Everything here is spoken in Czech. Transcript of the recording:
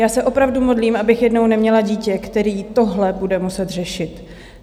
Já se opravdu modlím, abych jednou neměla dítě, které tohle bude muset řešit.